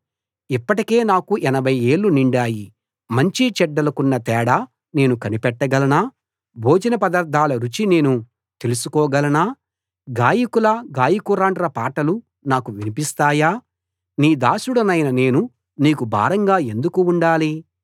ఇప్పటికే నాకు 80 ఏళ్ళు నిండాయి మంచి చెడ్డలకున్న తేడా నేను కనిపెట్టగలనా భోజన పదార్ధాల రుచి నేను తెలుసుకో గలనా గాయకుల గాయకురాండ్ర పాటలు నాకు వినిపిస్తాయా నీ దాసుడనైన నేను నీకు భారంగా ఎందుకు ఉండాలి